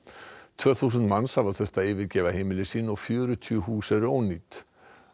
tvö þúsund manns hafa þurft að yfirgefa heimili sín og fjörutíu hús eru ónýt